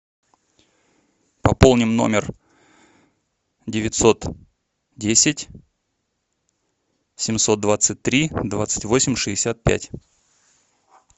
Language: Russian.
пополним номер девятьсот десять семьсот двадцать три двадцать восемь шестьдесят пять